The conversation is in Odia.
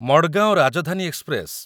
ମଡଗାଓଁ ରାଜଧାନୀ ଏକ୍ସପ୍ରେସ